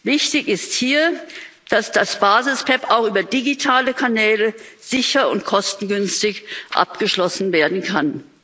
Wichtig ist hier, dass das Basis PEPP auch über digitale Kanäle sicher und kostengünstig abgeschlossen werden kann.